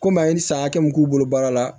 Komi a ye san hakɛ min k'u bolo baara la